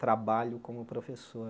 trabalho como professor.